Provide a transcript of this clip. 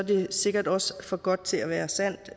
det sikkert også for godt til at være sandt